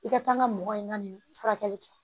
I ka kan ka mɔgɔ in na nin furakɛli kɛ